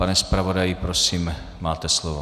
Pane zpravodaji, prosím, máte slovo.